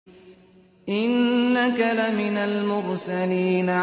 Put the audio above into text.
إِنَّكَ لَمِنَ الْمُرْسَلِينَ